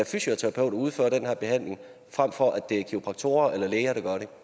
fysioterapeuter udføre den her behandling frem for at det er kiropraktorerne eller læger